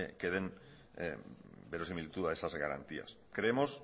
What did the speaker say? que den verosimilitud a esas garantías creemos